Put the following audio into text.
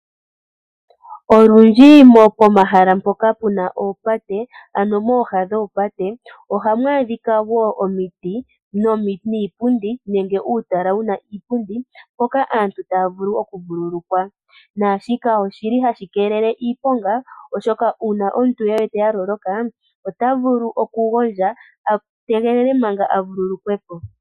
Olundji pomahala mpoka pu na oopate, ano mooha dhoopate, ohamu adhika wo omiti niipundi nenge uutala wu na uupundi mpoka aantu taya vulu okuvululukwa. Naashika ohashi keelele iiponga, oshoka uuna omuntu e wete a loloka, ota vulu okugondja a tegelele manga a vululukwe po.